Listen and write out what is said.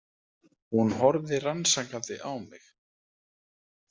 Hún horfði rannsakandi á mig.